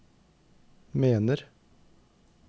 mener